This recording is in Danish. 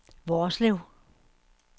Hvorslev